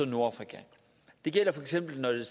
nordafrika det gælder for eksempel